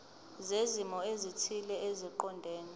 zezimo ezithile eziqondene